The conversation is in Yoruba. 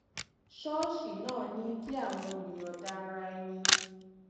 ṣóòṣì náà ní kí àwọn olùyòǹda ara ẹni